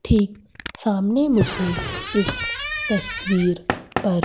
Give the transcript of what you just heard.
ठीक सामने मुझे इस तस्वीर पर--